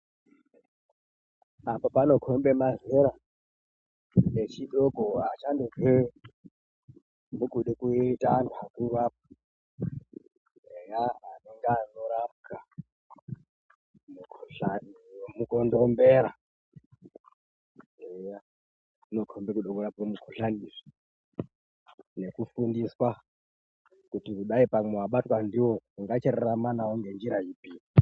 Apo panokhombe mazera echidoko achangobva mukuite antu akuru. Eya anonge anorapwa mukhuhlani wemukondombera. Eya zvinokhombe kude kurapwe mukhuhlani izvi nekufundiswa kuti kudayi pamwe wabatwa ndiwo ungachirarama ngenjira ipi.